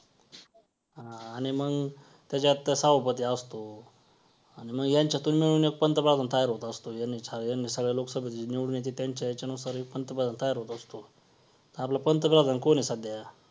अ आणि मग त्याच्यावर त्या सभापती असतो. आणि मग यांच्यातून मिळून एक पंतप्रधान तयार होत असतो. सगळ्या लोकसभेतून निवडून येतात त्यांच्या ह्याच्यानुसार एक पंतप्रधान तयार होत असतो. आपला पंतप्रधान कोण आहे सध्या